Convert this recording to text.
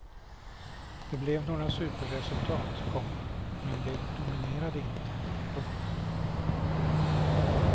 Det blev några superresultat, komma men de dominerade inte. punkt